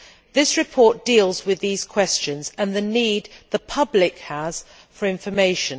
This report deals with these questions and the need the public has for information.